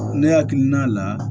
Ne hakilina la